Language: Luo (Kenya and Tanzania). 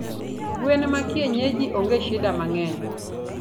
gwen ma kienyeji onge shida mangeny